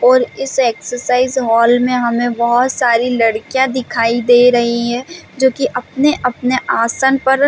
और इस exercise hall में हमें बहुत सारी लड़किया दिखाई दे रही है जो की आप ने अपने आसन पर--